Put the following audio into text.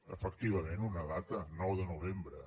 efectivament una data nou de novembre